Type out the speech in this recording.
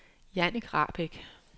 Jannik Rahbek